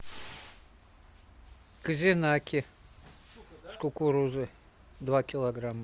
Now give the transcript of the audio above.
козинаки с кукурузой два килограмма